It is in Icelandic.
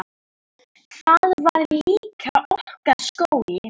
Það var líka okkar skóli.